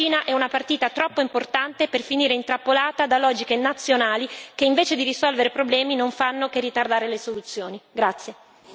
Il rapporto con la Cina è una partita troppo importante per finire intrappolata da logiche nazionali che, invece di risolvere problemi, non fanno che ritardare le soluzioni.